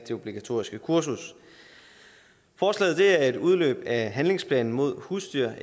det obligatoriske kursus forslaget udløber af handlingsplanen mod husdyr